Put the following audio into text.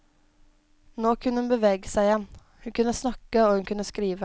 Nå kunne hun bevege seg igjen, hun kunne snakke og hun kunne skrive.